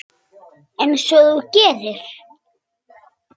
Einsog þú gerir?